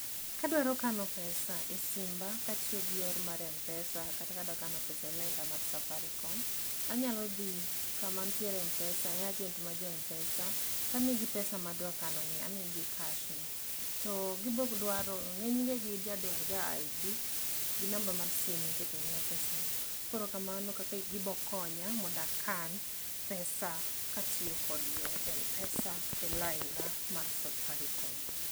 Kadwaro kano pesa e simba katiyo gi yor mar Mpesa kata ka adwa kano pesa e lainda mar Safaricom, anyalo dhi kama nitie Mpesa, e agent mar jo Mpesa tamiyogi pesa madwa kano ni, amiyo gi cash no, to gibo dwaro, ngenyne gija dwar ga ID gi namba mar simu miketonie pesa no. Koro kamano e kaka gibo konya mondo akan pesa katiyo gi yoo mar Mpesa a lainda mar Safaricom